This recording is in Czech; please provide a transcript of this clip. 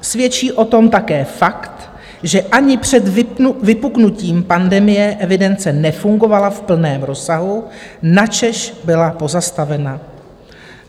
Svědčí o tom také fakt, že ani před vypuknutím pandemie evidence nefungovala v plném rozsahu, načež byla pozastavena.